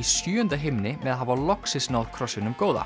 í sjöunda himni með að hafa loksins náð krossinum góða